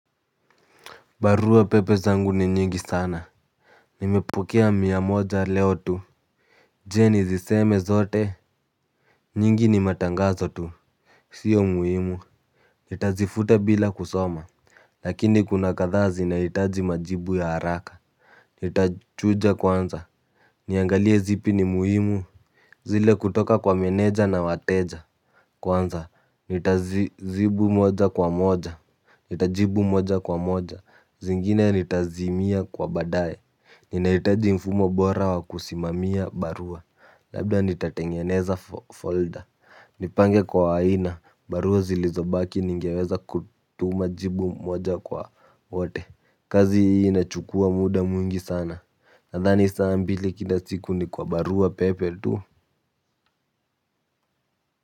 Barua pepe zangu ni nyingi sana. Nimepokea mia moja leo tu. Je, nizisome zote. Nyingi ni matangazo tu. Sio muhimu. Nitazifuta bila kusoma. Lakini kuna kadhaa zinahitaji majibu ya haraka. Nitachuja kwanza, niangalie zipi ni muhimu. Zile kutoka kwa meneja na wateja kwanza nitazijibu moja kwa moja. Nitajibu moja kwa moja zingine nitazimia kwa baadae. Ninahitaji mfumo bora wa kusimamia barua labda nitatengeneza folda, nipange kwa aina barua zilizobaki ningeweza kutuma jibu moja kwa wote. Kazi hii inachukua muda mwingi sana. Nadhani saa mbili kila siku ni kwa barua pepe tu.